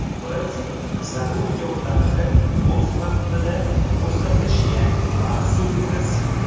Biz zarur yordamni o‘z vaqtida ko‘rsatishga mas’ulmiz.